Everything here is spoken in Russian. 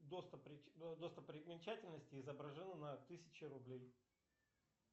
достопримечательности изображены на тысяче рублей